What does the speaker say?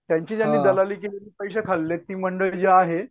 त्यांची केलेली दलाली ज्यांनी खाल्ली ती मंडळी जी आहे.